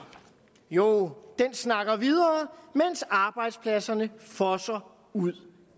jo den snakker videre mens arbejdspladserne fosser ud